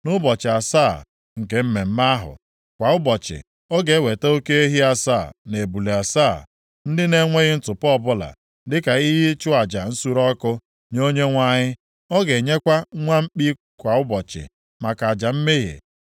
Nʼụbọchị asaa nke mmemme ahụ, kwa ụbọchị, ọ ga-eweta oke ehi asaa na ebule asaa, ndị na-enweghị ntụpọ ọbụla, dịka ihe ịchụ aja nsure ọkụ nye Onyenwe anyị. Ọ ga-enyekwa nwa mkpi kwa ụbọchị maka aja mmehie.